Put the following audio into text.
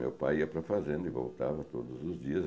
Meu pai ia para a fazenda e voltava todos os dias.